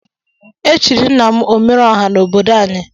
Echirim nna m omere ọha na obodo anyi.